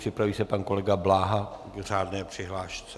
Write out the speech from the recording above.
Připraví se pan kolega Bláha v řádné přihlášce.